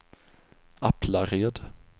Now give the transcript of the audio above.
Aplared